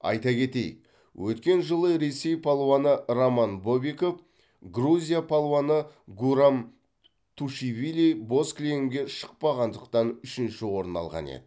айта кетейік өткен жылы ресей палуаны роман бобиков грузия палуаны гурам тушивили боз кілемге шықпағандықтан үшінші орын алған еді